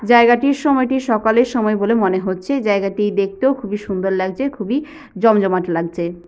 জায়গাটি সময়টি সকালের সময় বলে মনে হচ্ছেজায়গাটি দেখতেও খুবই সুন্দর লাগছেখুবই জমজমাট লাগছে।